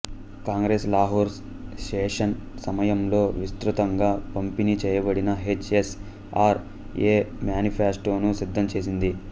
Congress Lahore session సమయంలో విస్తృతంగా పంపిణీ చేయబడిన హెచ్ ఎస్ అర్ ఏ మ్యానిఫెస్టోను సిద్ధం చేసింది